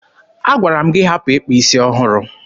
Agwara m gị hapụ ịkpa isi ọhụrụ!